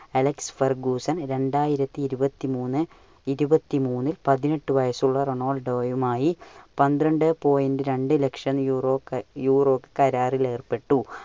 Alex Ferguson രണ്ടായിരത്തി ഇരുപത്തി മൂന്ന്~ ഇരുപത്തി മൂന്ന് പതിനെട്ട് വയസുള്ള റൊണാൾഡോയും ആയി പന്ത്രണ്ടു point രണ്ടു ലക്ഷം യൂറോ~ യൂറോ കരാറിൽ ഏർപ്പെട്ടു.